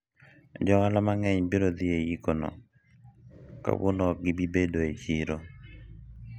jo ohala mang'eny biro dhi e yik no, kawuono ok gibi bedo e siro